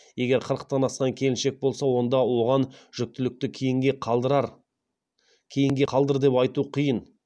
егер қырықтан асқан келіншек болса онда оған жүктілікті кейінге қалдыр деп айту қиын